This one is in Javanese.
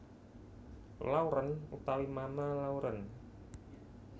Lauren utawi Mama Lauren